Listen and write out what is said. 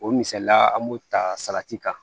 O misaliya an b'o ta salati kan